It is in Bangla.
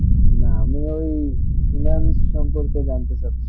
না আমি ঐই finance সম্পর্কে জানতে চাচ্ছি